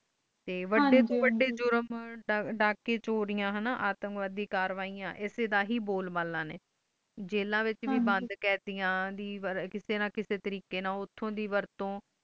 ਤੇ ਵੁਡਡੇ ਤੋਂ ਵੁਡਡੇ ਜੁਰਮ ਦੜਾਕੀ ਚੋਰੀਆਂ ਹਨ ਨਾ ਅਤੰਗਵਾਡੀ ਕਾਰਵਾਈਆਂ ਐਸੇ ਦਾ ਹੈ ਬੋਲ ਬਾਲਾ ਨੇ ਜੇਲਾਂ ਡੇ ਵਿਚ ਵੇ ਬੂੰਦ ਕੈਡੇਆਂ ਕਿਸੇ ਨਾ ਕਿਸੇ ਤਾਰੀਕਾਯ ਓਥੈ ਦੇ ਵਰਤੋਂ